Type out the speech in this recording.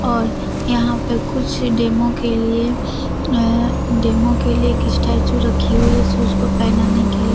और यहां पे कुछ डेमो के लिए अ डेमो के लिए एक स्टेचू रखी हुई है शूज को पहनाने के लिए।